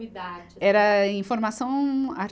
Idarte assim. Era informação